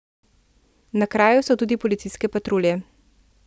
Na kraju so tudi policijske patrulje.